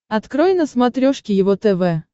открой на смотрешке его тв